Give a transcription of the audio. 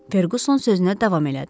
Ferquson sözünə davam elədi.